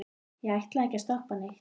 ég ætlaði ekkert að stoppa neitt.